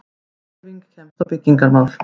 HREYFING KEMST Á BYGGINGARMÁL